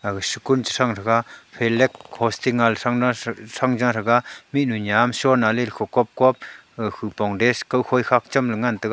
aga school sha chang taiga flag hosting aa le changla cha Chang ja taiga mihnu nyam shonale khu kopkop khupong dress kau khoi khaap chamke ngan taiga.